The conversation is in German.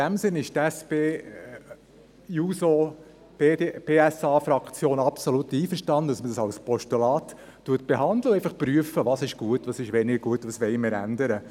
Deshalb ist die SP-JUSO-PSA-Fraktion absolut einverstanden, dass man die Motion als Postulat behandelt und prüft, was ist gut, was ist weniger gut und was wollen wir ändern.